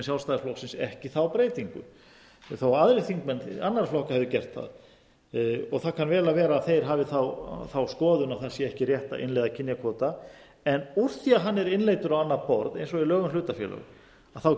sjálfstæðisflokksins ekki þá breytingu þó aðrir þingmenn annarra flokka hefðu gert það það kann vel að vera að þeir hafi þá skoðun að það sé ekki rétt að innleiða kynjakvóta en úr því að hann er innleiddur á annað borð eins og í lögum um hlutafélög þá